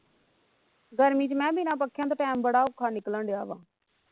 ਗਰਮੀ ਵਿਚ ਮੈ ਬਿਨਾਂ ਪੱਕਿਆਂ ਤੋਂ time ਬੜਾ ਔਖਾ ਨਿਕਲਣ ਦਿਆ ਵਾ